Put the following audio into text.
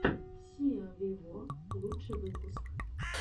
сиа виво лучший выпуск